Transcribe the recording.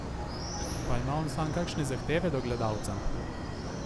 Pa ima on sam kakšne zahteve do gledalca?